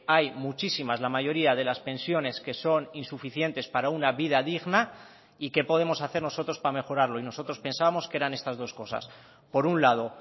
hay muchísimas la mayoría de las pensiones que son insuficientes para una vida digna y qué podemos hacer nosotros para mejorarlo y nosotros pensábamos que eran estas dos cosas por un lado